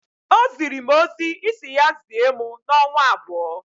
O ziri mụ ozi Ị si ya zie mụ n'ọnwa abụọ.